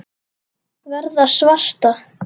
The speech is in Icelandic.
Verða svarta.